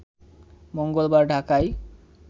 মঙ্গলবার ঢাকায়